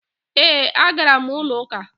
E, a gara m ulo uka.